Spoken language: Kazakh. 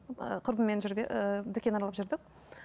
ы құрбыммен ыыы дүкен аралап жүрдік